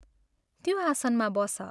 त्यो आसनमा बस।